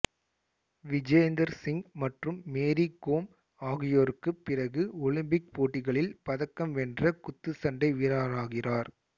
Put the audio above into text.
விஜேந்தர் சிங் மற்றும் மேரி கோம் ஆகியோருக்குப் பிறகு ஒலிம்பிக் போட்டிகளில் பதக்கம் வென்ற குத்துச்சண்டை வீரராகிறார்